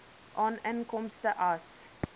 aan inkomste as